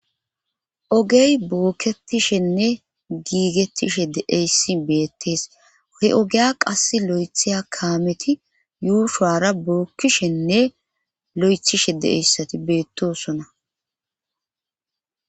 ogey bookketishenne giigettishe deeyssi beettees he ogeya qass lo7etheya kaameti yuushara bookkishenne lo7ethishe deeyssati beettosona